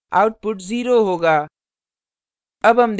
output 0 होगा